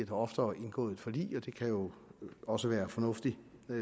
oftere indgået forlig og det kan jo også være fornuftigt